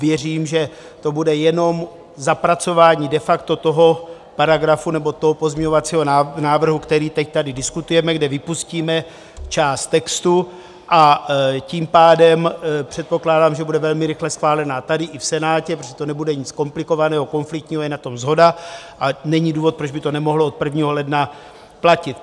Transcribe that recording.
Věřím, že to bude jenom zapracování de facto toho paragrafu nebo toho pozměňovacího návrhu, který teď tady diskutujeme, kde vypustíme část textu, a tím pádem předpokládám, že bude velmi rychle schválená tady i v Senátě, protože to nebude nic komplikovaného, konfliktního, je na tom shoda a není důvod, proč by to nemohlo od 1. ledna platit.